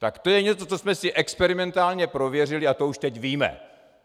Tak to je něco, co jsme si experimentálně prověřili a to už teď víme.